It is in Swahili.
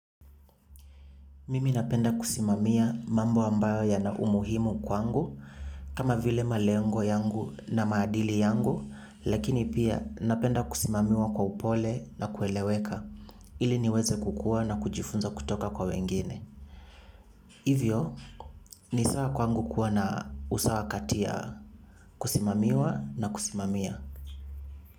Mimi napenda kusimamia mambo amabyo yana umuhimu kwangu kama vile malengo yangu na maadili yangu lakini pia napenda kusimamiwa kwa upole na kueleweka ili niweze kukua na kujifunza kutoka kwa wengine. Hivyo, ni sawa kwangu kuwa na usawa kati ya kusimamiwa na kusimamia.